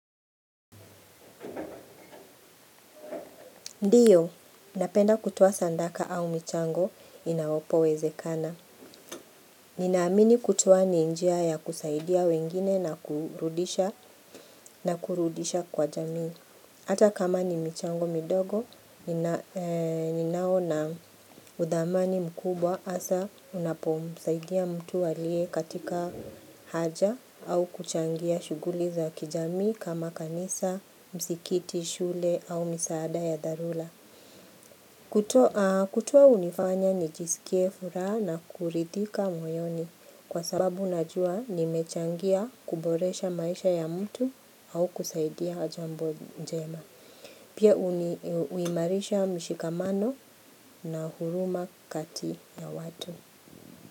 Ndiyo, napenda kutoa sadaka au michango inapowezekana. Ninaamini kutoa ni njia ya kusaidia wengine na kurudisha, na kurudisha kwa jamii. Ata kama ni michango midogo, ninaona uthamani mkubwa hasa unapomsaidia mtu aliye katika haja au kuchangia shughuli za kijamii kama kanisa, msikiti, shule au misaada ya dharura. Kutoa hunifanya nijiskie furaha na kuridhika moyoni kwa sababu najua nimechangia kuboresha maisha ya mtu au kusaidia jambo jema. Pia huimarisha mshikamano na huruma kati ya watu.